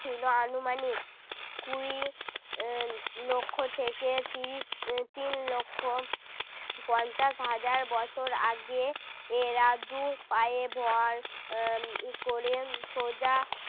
ছিল আনুমানিক কুড়ি উহ লক্ষ থেকে ত্রিশ এর তিন লক্ষ পঞ্চাশ হাজার বছর আগে। এরা দু'পায়ে ভর আহ ক'রে সোজা